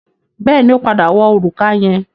Bẹ́ẹ̀ni, ó padà wọ òrùka yẹn.